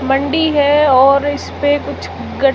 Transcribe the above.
मंडी है और इसपे कुछ--